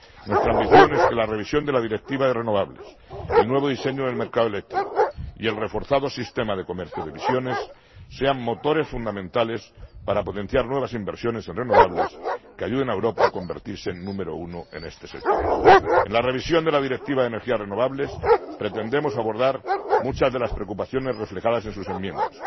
Nuestra ambición es que la revisión de la Directiva de renovables, el nuevo diseño del mercado eléctrico y el reforzado sistema de comercio de emisiones sean motores fundamentales para potenciar nuevas inversiones en renovables que ayuden a Europa a convertirse en número uno en este sector. En la revisión de la Directiva de energías renovables pretendemos abordar muchas de las preocupaciones reflejadas en sus enmiendas.